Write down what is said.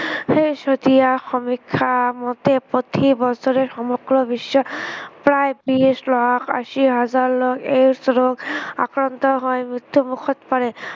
শেহতীয়া সমীক্ষা মতে প্ৰতি বছৰে সমগ্ৰ বিশ্বৰ প্ৰায় বিশ লাখ আশী হাজাৰ লোক AIDS ৰোগত আক্ৰান্ত হৈ মৃত্য়ু মুখত পৰে।